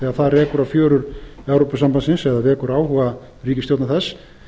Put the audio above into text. þegar það rekur á fjörur evrópusambandsins eða vekur áhuga ríkisstjórna þess